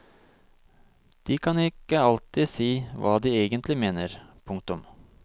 De kan ikke alltid si hva de egentlig mener. punktum